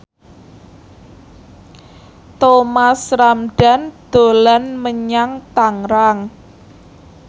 Thomas Ramdhan dolan menyang Tangerang